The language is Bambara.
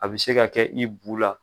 A bi se ka kɛ, i bu la